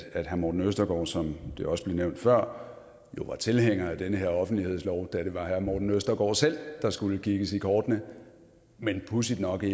herre morten østergaard som det også blev nævnt før jo var tilhænger af den her offentlighedslov da det var herre morten østergaard selv der skulle kigges i kortene men pudsigt nok er